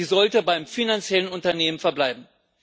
Sie sollte beim finanziellen Unternehmen verbleiben.